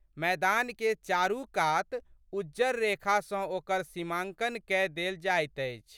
मैदानकेँ चारू कात उज्जर रेखा सँ ओकर सीमांकन कय देल जाइत अछि।